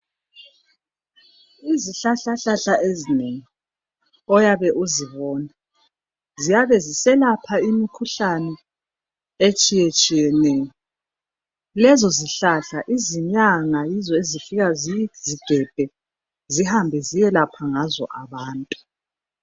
Izihlahlahlahla ezinengi oyabe uzibona, ziyabe ziselapha imkhuhlane etshiyetshiyeneyo. Lezo zihlahla izinyanga yizo ezifika zizigebhe zihambe ziyelapha ngazo abantu.